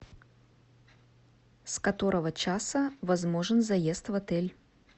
с которого часа возможен заезд в отель